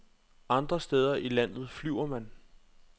Andre steder i landet flyver man.